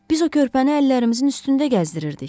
Biz o körpəni əllərimizin üstündə gəzdirirdik.